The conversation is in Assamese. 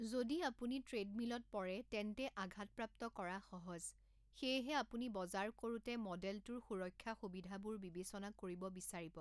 যদি আপুনি ট্ৰেডমিলত পৰে তেন্তে আঘাত প্ৰাপ্ত কৰা সহজ, সেয়েহে আপুনি বজাৰ কৰোঁতে মডেলটোৰ সুৰক্ষা সুবিধাবোৰ বিবেচনা কৰিব বিচাৰিব।